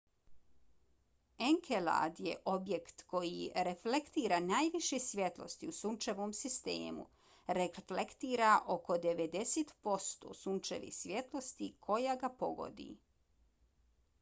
enkelad je objekt koji reflektira najviše svjetlosti u sunčevom sistemu; reflektira oko 90 posto sunčeve svjetlosti koja ga pogodi